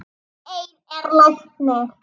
Eir er læknir